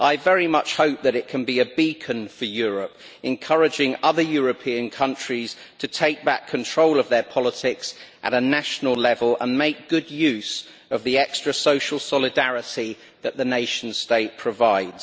I very much hope that it can be a beacon for Europe, encouraging other European countries to take back control of their politics at a national level and make good use of the extra social solidarity that the nation state provides.